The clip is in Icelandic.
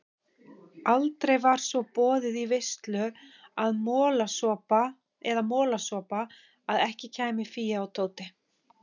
Aldrei var svo boðið í veislu eða molasopa að ekki kæmu Fía og Tóti.